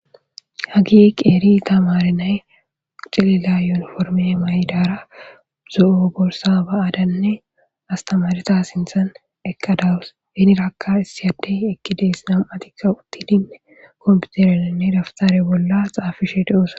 Hage qeri tamare nayi cilila yuniforme mayidara zo'o borisa baadanne astemareta sintan eqadaus hiniraka issi adde eqides nam'atika utidi kanfitereranne defiter bola xafishe deosona.